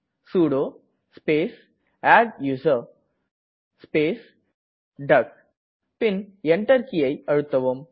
sudo space adduser பின் Enter கீயை அழுத்தவும்